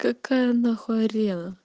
какая нахуярил